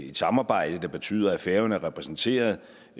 et samarbejde der betyder at færøerne er repræsenteret